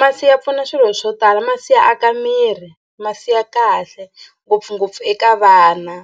Masi ya pfuna swilo swo tala. Masi ya aka miri masi ya kahle ngopfungopfu eka vana